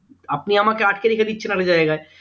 আপনি আমাকে আটকে রেখে দিচ্ছেন জায়গায়